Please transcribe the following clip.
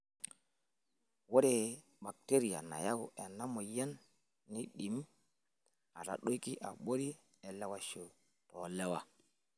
Ore bakiteria nayau ena moyian neidim atadoiki abori elewaisho toolewa.